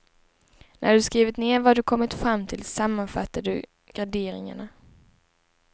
När du skrivit ned vad du kommit fram till sammanfattar du garderingarna.